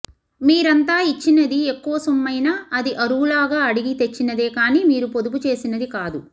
మీరంతా ఇచ్చినది ఎక్కువ సొమ్మైనా అది అరువులా అడిగి తెచ్చినదే కానీ మీరు పొదుపు చేసినది కాదు